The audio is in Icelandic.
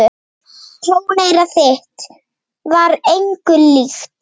Tóneyra þitt var engu líkt.